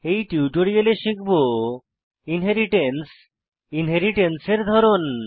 এই টিউটোরিয়ালে শিখব ইনহেরিট্যান্স ইনহেরিট্যান্স এর ধরন